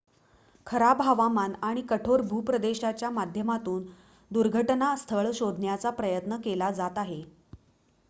खराब हवामान आणि कठोर भूप्रदेशाच्या माध्यमातून दुर्घटना स्थळ शोधण्याचा प्रयत्न केला जात आहे